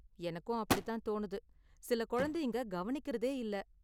எனக்கும் அப்படி தான் தோணுது, சில குழந்தைங்க கவனிக்கறதே இல்ல.